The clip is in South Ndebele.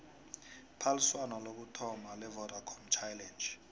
iphaliswano lokuthoma levodacom challenge